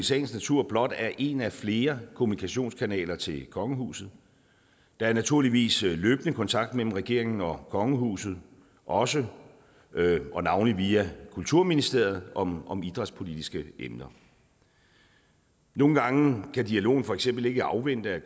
sagens natur blot er en af flere kommunikationskanaler til kongehuset der er naturligvis løbende kontakt mellem regeringen og kongehuset også og navnlig via kulturministeriet om om idrætspolitiske emner nogle gange kan dialogen for eksempel ikke afvente at